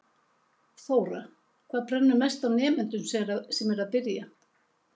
Þóra: Hvað brennur mest á nemendunum sem eru að byrja?